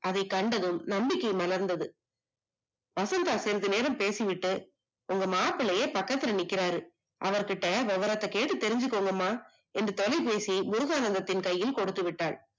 அதை கண்டதும் நம்பிக்கை மலர்ந்தது. வசந்தா சிறுது நேரம் பேசிவிட்டு, உங்க மாப்பிள்ளையே பக்கத்துல நிற்கிறாரு அவர் கிட்டயே விவரத்த கேட்டு தெரிஞ்சுக்கோங்கமா என்று தொலைபேசி முருகானந்தத்தின் கையில் கொடுத்து விட்டாள்